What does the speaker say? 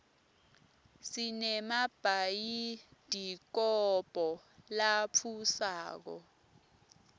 sinemabhayidikobho latfusako